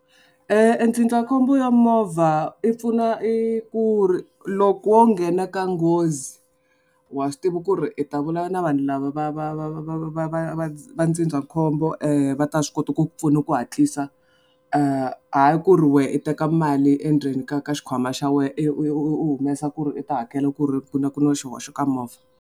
E ndzindzakhombo ya movha i pfuna i ku ri loko wo nghena ka nghozi wa swi tiva ku ri i ta vula na vanhu lava va va va va va va va va va ndzindzakhombo va ta swi kota ku pfuna ku hatlisa hayi ku ri wena u teka mali endzeni ka ka xikhwama xa wena u humesa ku ri u ta hakela ku na xihoxo ka movha.